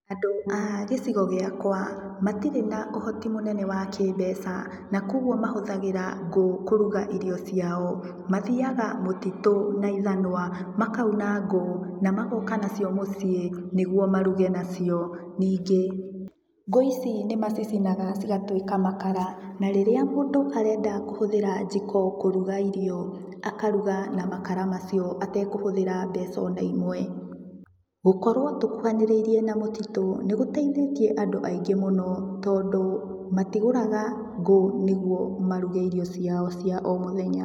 Andũ a gĩcigo gĩakwa, matirĩ na ũhoti mũnene wa kĩmbeca na kwogwo mahũthagĩra ngũ kũruga irio ciao. Mathiaga mũtitũ na ithanwa makauna ngũ na magoka nacio mũciĩ nĩgwo maruge nacio. Ningĩ, ngũ ici nĩmacicinaga cigatuĩka makara. Na rĩrĩa mũndũ arenda kũhũthĩra njiko kũruga irio akaruga na makara macio atekũhũthĩra mbeca ona imwe. Gũkorwo tũkuhanĩrĩirie na mũtitũ nĩgũteithĩtie andũ aingĩ mũno tondũ matigũraga ngũ nĩgwo maruge irio ciao cia o mũthenya.